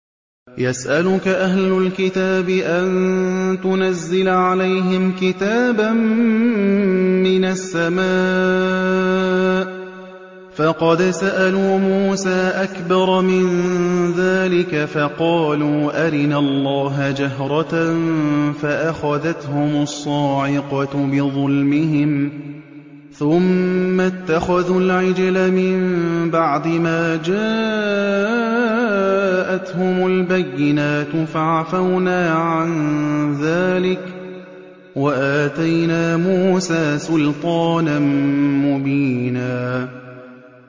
يَسْأَلُكَ أَهْلُ الْكِتَابِ أَن تُنَزِّلَ عَلَيْهِمْ كِتَابًا مِّنَ السَّمَاءِ ۚ فَقَدْ سَأَلُوا مُوسَىٰ أَكْبَرَ مِن ذَٰلِكَ فَقَالُوا أَرِنَا اللَّهَ جَهْرَةً فَأَخَذَتْهُمُ الصَّاعِقَةُ بِظُلْمِهِمْ ۚ ثُمَّ اتَّخَذُوا الْعِجْلَ مِن بَعْدِ مَا جَاءَتْهُمُ الْبَيِّنَاتُ فَعَفَوْنَا عَن ذَٰلِكَ ۚ وَآتَيْنَا مُوسَىٰ سُلْطَانًا مُّبِينًا